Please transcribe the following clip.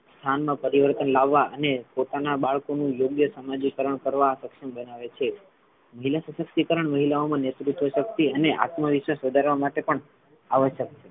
સ્થાન મા પરિવર્તન લાવવા અને પોતાના બાળકોનું યોગ્ય સામાજિકરણ કરવા સક્ષમ બનાવે છે મહિલા શાશક્તિકરણ મહિલાઓ મા નેતૃત્વ શક્તિ અને આત્મવિશ્વાસ વધારવા માટે પણ આવશ્યક છે.